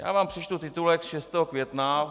Já vám přečtu titulek z 6. května.